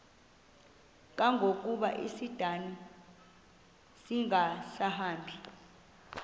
kangangokuba isindane ingasahambi